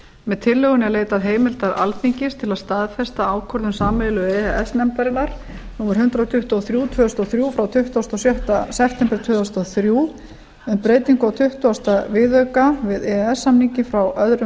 með tillögunni er leitað heimildar alþingis til staðfestingar á ákvörðun sameiginlegu e e s nefndarinnar númer hundrað tuttugu og þrjú tvö þúsund og þrjú frá tuttugasta og sjötta september tvö þúsund og þrjú um breytingu á tuttugasta viðauka við e e s samninginn frá öðrum